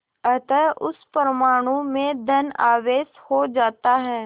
अतः उस परमाणु में धन आवेश हो जाता है